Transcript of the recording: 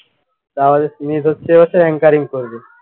তাহলে স্মিথ হচ্ছে এ বছর ancaring করবে ।